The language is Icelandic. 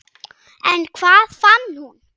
En hvað fann hún?